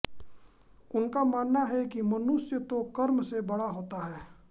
उनका मानना है कि मनुष्य तो कर्म से बड़ा होता है